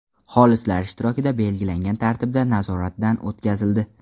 xolislar ishtirokida belgilangan tartibda nazoratdan o‘tkazildi.